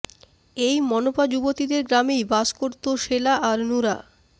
এই মনপা যুবতীদের গ্রামেই বাস করতো সেলা আর নুরা